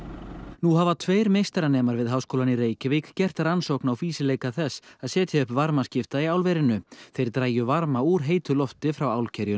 nú hafa tveir meistaranemar við Háskólann í Reykjavík gert rannsókn á fýsileika þess að setja upp varmaskipta í álverinu þeir drægju varma úr heitu lofti frá